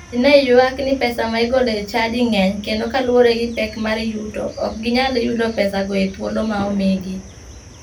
Ji ne ywak ni pesa ma igolo e chadi ng'eny kendo kaluwore gi pek mar yuto, ok ginyal yudo pesago e thuolo ma omigi.